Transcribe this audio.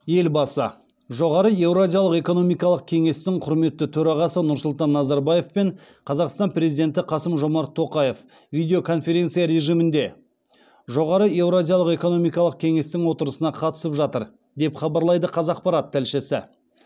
елбасы жоғары еуразиялық экономикалық кеңестің құрметті төрағасы нұрсұлтан назарбаев пен қазақстан президенті қасым жомарт тоқаев видеоконференция режимінде жоғары еуразиялық экономикалық кенестің отырысына қатысып жатыр деп хабарлайды қазақпарат тілшісі